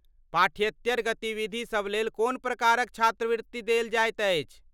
पाठ्येतर गतिविधिसभ लेल कोन प्रकारक छात्रवृत्ति देल जाइत अछि।